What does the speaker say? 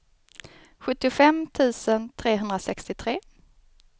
sjuttiofem tusen trehundrasextiotre